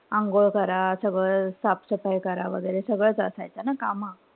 अंघोळ करा. सगळं साफसफाई करा वगैरे सगळंच असायचं ना काम.